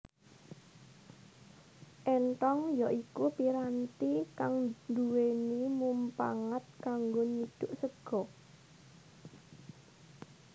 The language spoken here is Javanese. Éntong ya iku piranti kang dhuweni mumpangat kanggo nyidhuk sega